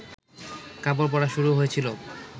কাপড় পরা শুরু হয়েছিল